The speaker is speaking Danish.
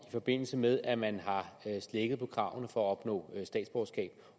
i forbindelse med at man har slækket på kravene for at opnå statsborgerskab